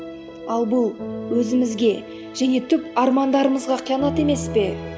ал бұл өзімізге және түп армандарымызға қиянат емес пе